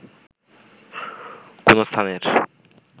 কোনো স্থানের